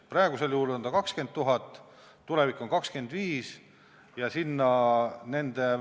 Praegu on ta 20 000, tulevikus on 25 000.